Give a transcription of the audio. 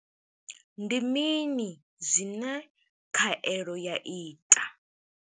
Ndi mini zwine khaelo ya ita?